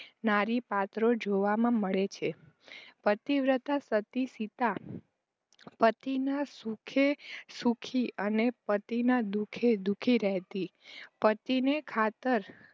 નારીપાત્રો જોવામાં મળે છે. પતિવ્રતા સતી સીતા પતિના સુખે સુખી અને પતિના દુખે દુખી રહેતી પતિને ખાતર